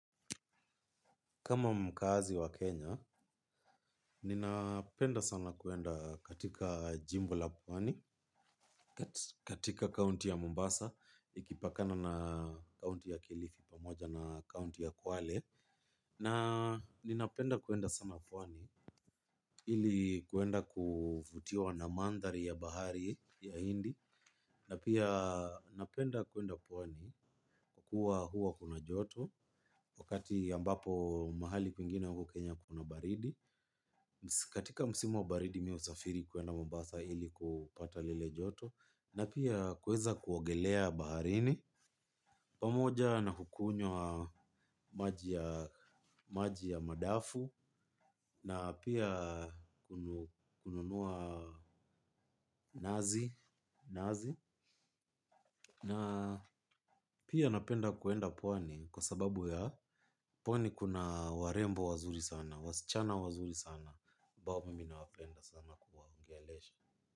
Kama mkaazi wa Kenya, ninapenda sana kuenda katika jimbo la pwani, katika kaunti ya Mombasa, ikipakana na kaunti ya kilifi pamoja na kaunti ya kwale. Na ninapenda kuenda sana pwani, ili kuenda kuvutiwa na mandhari ya bahari ya hindi. Na pia napenda kuenda pwani kuwa huwa kuna joto wakati ambapo mahali kwingine huku kenya kuna baridi katika msimu wa baridi mimi husafiri kuenda mombasa ili kupata lile joto na pia kuweza kuogelea baharini pamoja na kukunywa maji ya madafu na pia kununua nazi bahazi na pia napenda kuenda pwani kwa sababu ya pwani kuna warembo wazuri sana wasichana wazuri sana ambao mimi nawapenda sana.